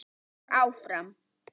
Og áfram.